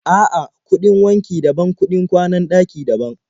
A'a, kuɗin wanki daban, kuɗin kwanan ɗaki daban.